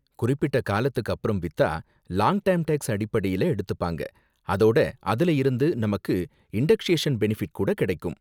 குறிப்பிட்ட காலத்துக்கு அப்புறம் வித்தா லாங் டேர்ம் டேக்ஸ் அடிப்படையில எடுத்துப்பாங்க அதோட அதுல இருந்து நமக்கு இன்டக்ஷேஷன் பெனிபிட் கூட கிடைக்கும்.